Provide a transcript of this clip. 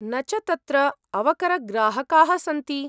न च तत्र अवकरग्राहकाः सन्ति।